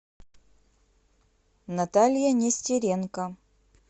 наталья нестеренко